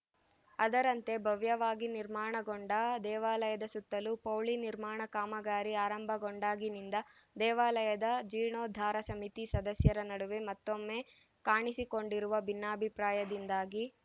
ಅದರಂತೆ ಭವ್ಯವಾಗಿ ನಿರ್ಮಾಣಗೊಂಡ ದೇವಾಲಯದ ಸುತ್ತಲೂ ಪೌಳಿ ನಿರ್ಮಾಣ ಕಾಮಗಾರಿ ಆರಂಭಗೊಂಡಾಗಿನಿಂದ ದೇವಾಲಯದ ಜೀರ್ಣೋದ್ಧಾರ ಸಮಿತಿ ಸದಸ್ಯರ ನಡುವೆ ಮತ್ತೊಮ್ಮೆ ಕಾಣಿಸಿಕೊಂಡಿರುವ ಭಿನ್ನಾಭಿಪ್ರಾಯದಿಂದಾಗಿ